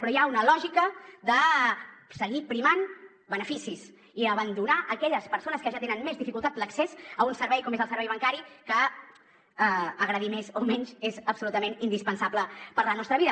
però hi ha una lògica de seguir primant beneficis i abandonar aquelles persones que ja tenen més dificultat per a l’accés a un servei com és el servei bancari que agradi més o menys és absolutament indispensable per a la nostra vida